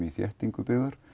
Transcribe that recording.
þéttingar byggðar